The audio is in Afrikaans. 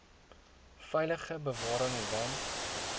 veilige bewaring want